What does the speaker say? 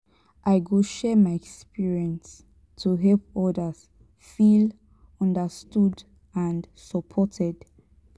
i go share my experience to help others feel understood and supported.